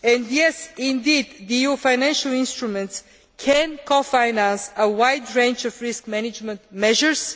Yes, indeed the EU financial instruments can cofinance a wide range of risk management measures.